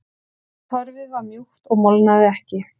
Torfið var mjúkt og molnaði ekki.